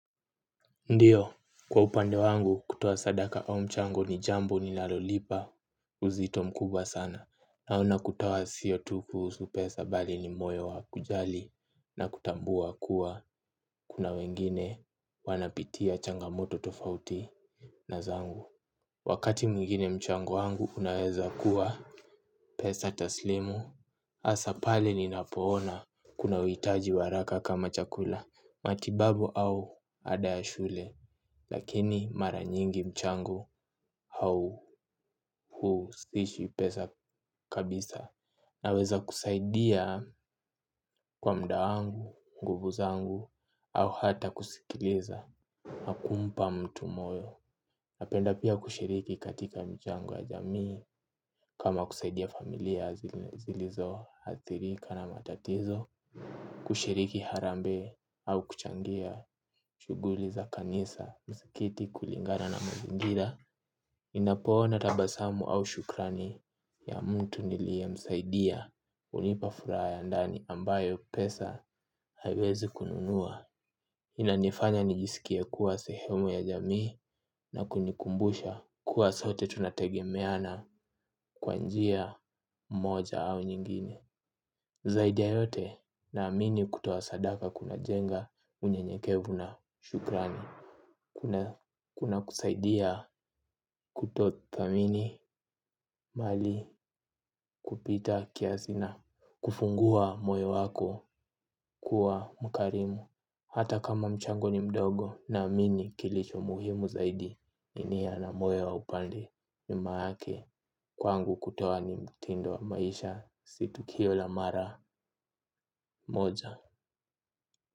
Ndiyo, kwa upande wangu kutoa sadaka au mchango ni jambo nilalolipa uzito mkubwa sana. Na kutoa sio tu kuhusu, pesa bali ni moyo wa kujali na kutambua kuwa kuna wengine wanapitia changamoto tofauti na zangu. Wakati mwigine, mchango wangu unaweza kuwa pesa taslimu hasa pale ninapoona kuna uhitaji wa haraka kama chakula, matibabu au ada ya shule. Lakini mara nyingi mchango huu si pesa kabisa. Naweza kusaidia kwa muda wangu, nguvu zangu au hata kusikiliza. Nakumpa mtu moyo. Napenda pia kushiriki katika mchango ya jamii. Kama kusaidia familia zilizo hathirika na matatizo kushiriki harambee au kuchangia shughuli za kanisa, msikiti, kulingana na mazingira. Ninapoona tabasamu au shukrani ya mtu nilie msaidia. Hunipa furaha ya ndani ambayo pesa haiwezi kununua. Inanifanya nijisikie kuwa sehemu ya jamii, na kunikumbusha kuwa sote tunategemeana kwa njia moja au nyingine. Zaidi ya yote, naamini kutoa sadaka kunajenga unyenyekevu na shukrani. Kunakusaidia kutothamini mali kupitakiasi na kufungua moyo wako kuwa mkarimu. Hata kama mchango ni mdogo na amini kilicho muhimu zaidi ni nia na moyo wa upendo nyuma yake. Kwangu kutoa ni mtindo wa maisha si tukio la mara moja.